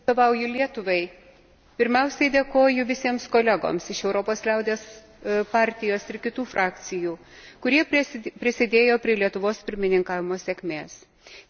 Kadangi atstovauju Lietuvai, pirmiausia dėkoju visiems kolegoms iš Europos liaudies partijos ir kitų frakcijų, kurie prisidėjo prie Lietuvos pirmininkavimo sėkmės.